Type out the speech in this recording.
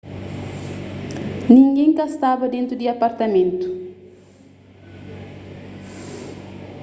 ningén ka staba dentu di apartamentu